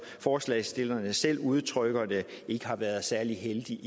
forslagsstillerne selv udtrykker det ikke har været særlig heldigt